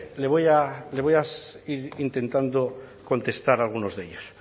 intentando contestar a algunos de ellos